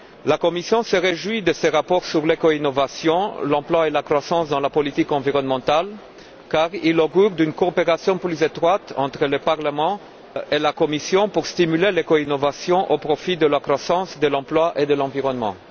La Commission se réjouit de ce rapport sur l'éco innovation, l'emploi et la croissance dans la politique environnementale, car il augure d'une coopération plus étroite entre le Parlement et la Commission pour stimuler l'éco innovation au profit de la croissance, de l'emploi et de l'environnement.